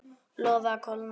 Leyfið að kólna.